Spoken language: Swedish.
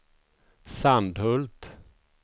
Sandhult